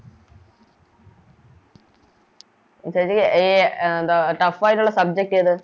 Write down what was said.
ചേച്ചി അഹ് എന്താ Tough ആയിട്ടുള്ള Subject ഏത്